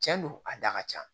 Cɛn do a da ka ca